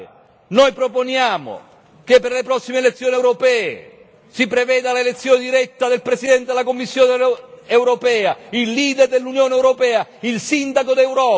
Noi proponiamo che per le prossime elezioni europee si preveda l'elezione diretta del Presidente della Commissione europea, il leader dell'Unione europea, il sindaco d'Europa.